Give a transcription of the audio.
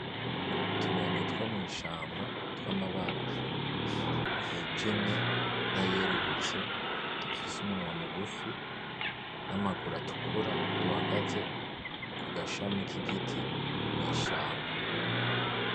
Utunyoni two mw'ishamba twamabara yijimye nayerurutse dufise umunwa mugufi namaguru atukura duhagaze kugashami kigiti mw'ishamba